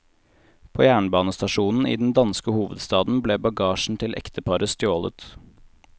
På jernbanestasjonen i den danske hovedstaden ble bagasjen til ekteparet stjålet.